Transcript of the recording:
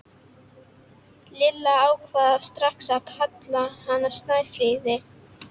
Lilla ákvað strax að kalla hana Snæfríði.